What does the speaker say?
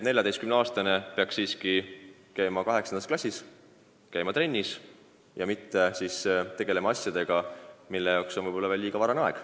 14-aastane peaks siiski käima 8. klassis, käima trennis ja mitte tegelema asjadega, mille jaoks on veel liiga vara.